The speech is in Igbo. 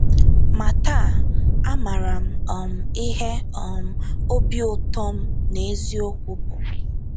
Ma taa, amaara m um ihe um obi ụtọ n’eziokwu bụ.